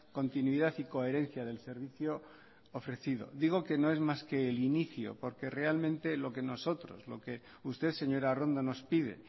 continuidad y coherencia del servicio ofrecido digo que no es más que el inicio porque realmente lo que nosotros lo que usted señora arrondo nos pide